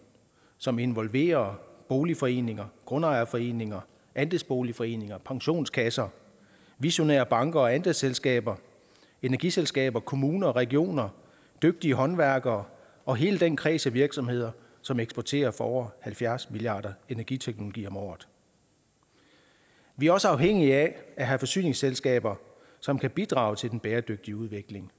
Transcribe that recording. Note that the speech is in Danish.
som involverer boligforeninger grundejerforeninger andelsboligforeninger pensionskasser visionære banker og andelsselskaber energiselskaber kommuner regioner dygtige håndværkere og hele den kreds af virksomheder som eksporterer for over halvfjerds milliard energiteknologi om året vi er også afhængige af at have forsyningsselskaber som kan bidrage til den bæredygtige udvikling